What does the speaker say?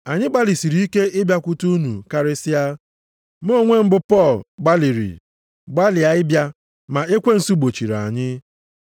Anyị gbalịsịrị ike ịbịakwute unu, karịsịa, mụ onwe m bụ Pọl gbalịrị, gbalịa ịbịa, ma ekwensu gbochiri anyị.